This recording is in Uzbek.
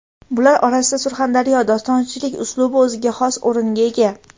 Bular orasida Surxondaryo dostonchilik uslubi o‘ziga xos o‘ringa ega.